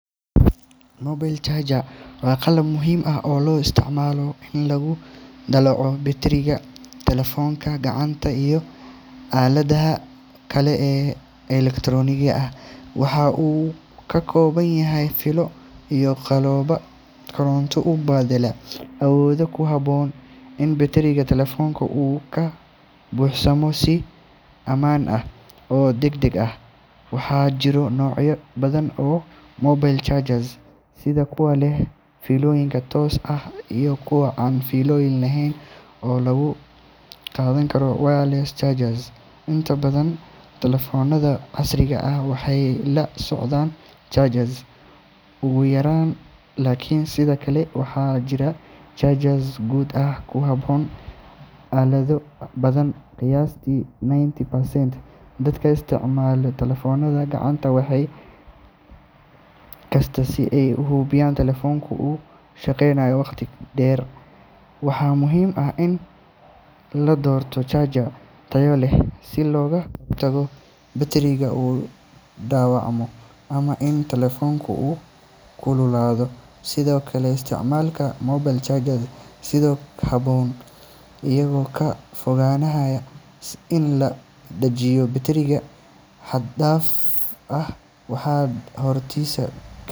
Mobile charger waa qalab muhiim ah oo loo isticmaalo in lagu dallaco batteriga taleefannada gacanta iyo aaladaha kale ee elektarooniga ah. Waxa uu ka kooban yahay fiilo iyo qalab koronto u beddela awood ku habboon in batteriga taleefanka uu ka buuxsamo si ammaan ah oo degdeg ah. Waxaa jira noocyo badan oo mobile chargers, sida kuwa leh fiilooyin toos ah iyo kuwa aan fiilo lahayn oo loo yaqaan wireless chargers. Inta badan taleefannada casriga ah waxay la socdaan charger u gaar ah, laakiin sidoo kale waxaa jira chargers guud oo ku habboon aalado badan. Qiyaastii ninety percent dadka isticmaala taleefannada gacanta waxay isticmaalaan mobile charger maalin kasta si ay u hubiyaan in taleefankoodu uu shaqeynayo wakhti dheer. Waxaa muhiim ah in la doorto charger tayo leh si looga hortago in batteriga uu dhaawacmo ama in taleefanku uu kululaado. Sidoo kale, isticmaalka mobile charger si habboon iyo ka fogaanshaha in la dajiyo batteriga xad-dhaaf ah waxay kordhisaa.